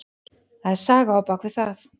Það er saga á bak við það.